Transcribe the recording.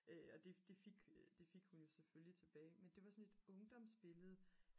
og det fik hun jo selvfølgelig tilbage men det var sådan et ungdomsbillede